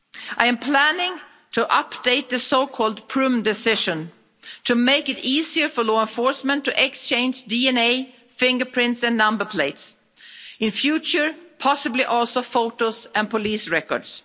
I am planning to update the Prüm Decision to make it easier for law enforcement to exchange DNA, fingerprints and number plates, and, in future, possibly also photos and police records.